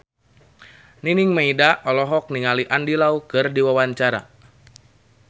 Nining Meida olohok ningali Andy Lau keur diwawancara